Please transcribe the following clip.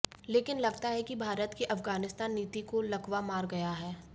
लेकिन लगता है कि भारत की अफगानिस्तान नीति को लकवा मार गया है